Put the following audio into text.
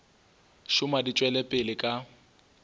šoma di tšwela pele ka